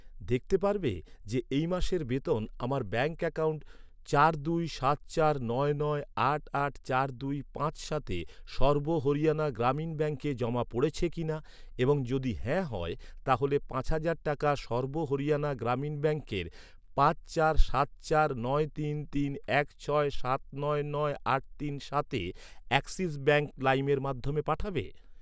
দেখতে পারবে যে এই মাসের বেতন আমার ব্যাঙ্ক অ্যাকাউন্ট চার দুই সাত চার নয় নয় আট আট চার দুই পাঁচ সাতে সর্ব হরিয়ানা গ্রামীণ ব্যাঙ্কে জমা পড়েছে কিনা, এবং যদি হ্যাঁ হয়, তাহলে পাঁচ হাজার টাকা সর্ব হরিয়ানা গ্রামীণ ব্যাঙ্কের পাঁচ চার সাত চার নয় তিন তিন এক ছয় সাত নয় নয় আট তিন সা্তে অ্যাক্সিস ব্যাঙ্ক লাইমের মাধ্যমে পাঠাবে?